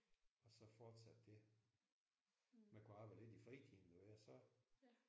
Og så fortsatte det. Man kunne arbejde lidt i fritiden